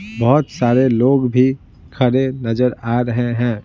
बहुत सारे लोग भी खड़े नजर आ रहे हैं।